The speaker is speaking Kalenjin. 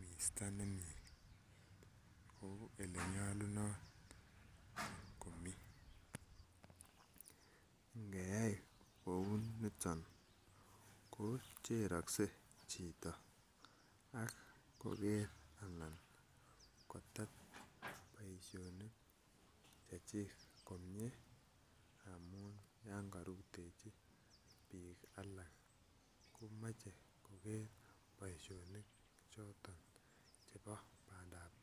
misto nemiten komii nkeyai kou niton ko cherokse chito ak koker ana kitet boishonik Chechik komie amun yon korutechi bik alak komoche koger boishonik choton chebo panda tai.